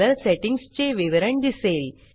colour settings चे विवरण दिसेल